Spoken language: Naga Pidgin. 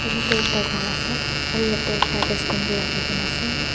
etu tho ekta kor ase aro yete ekta dustbin bi raki kina ase.